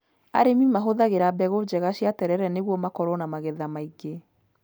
Arĩmi mahũthagĩra mbegũ njega cia terere nĩguo makorwo na magetha maingĩ.